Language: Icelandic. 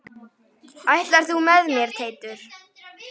Ætlar þú með mér Teitur!